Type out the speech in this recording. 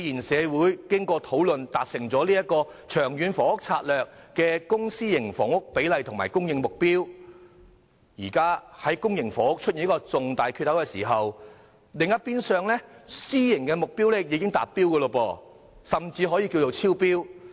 社會經過討論才達成了《長遠房屋策略》的公私營房屋比例及供應目標，但公營房屋現在卻出現了一個重大缺口，另一邊廂的私樓目標卻已達標，甚至可以說是超標。